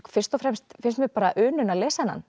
fyrst og fremst finnst mér unun að lesa þennan